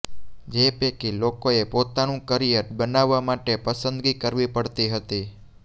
જે પૈકી લોકોએ પોતાનું કરિયર બનાવવા માટે પસંદગી કરવી પડતી હતી